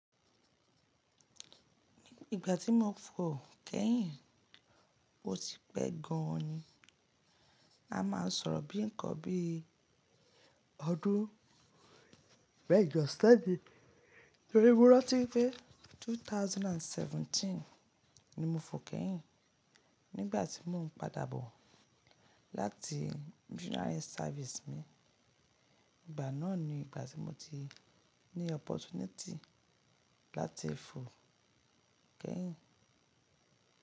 Ní ìgbà tí mo fò kẹ́yìn, ó ti pẹ́ gan ni. A máa ń sọ̀rọ̀ bí nǹkan bí i ọdún, bẹ́ẹ̀ yóò ṣẹ́di tórí mo rántí wípé 2017 ni mo fò kẹ́yìn. Nígbà tí mo ń padà bọ̀ láti missionary service mi, ìgbà náà ni ìgbà tí mo ti ní opportunity láti fò kẹ́yìn.